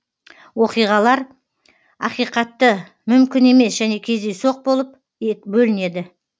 оқиғалар ақиқатты мүмкін емес және кездейсоқ болып бөлінеді